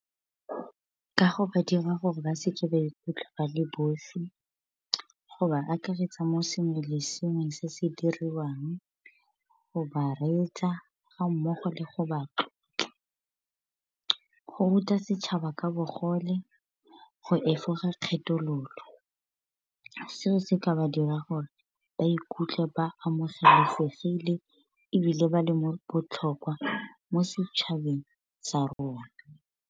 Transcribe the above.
Ka go ba dira gore ba seke ba ikutlwa ba le bosi, go ba akaretsa mo sengwe le sengwe se se diriwang, go ba reetsa, ga mmogo le go ba tlotla. Go ruta setšhaba ka bogole, go efoga kgethololo. Seo se ka ba dira gore ba ikutlwe ba amogelesegile, ebile ba le mo botlhokwa mo setšhabeng sa rona.